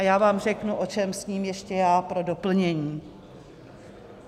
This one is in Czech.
A já vám řeknu, o čem sním ještě já pro doplnění.